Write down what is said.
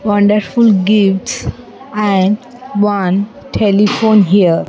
Wonderful gifts and one telephone here.